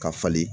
Ka falen